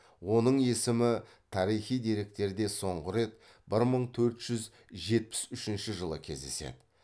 оның есімі тарихи деректерде соңғы рет бір мың төрт жүз жетпіс үшінші жылы кездеседі